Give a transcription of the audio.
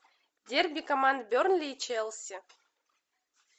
дерби команд бернли и челси